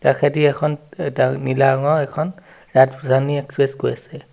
কাষেদি এখন অ দা এটা নীলা ৰঙৰ এখন ৰাতৰানী এক্সচে্ছ গৈ আছে।